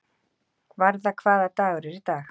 Varða, hvaða dagur er í dag?